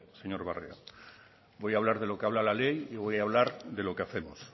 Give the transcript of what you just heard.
señor barrio voy a hablar de lo que habla la ley y voy a hablar de lo que hacemos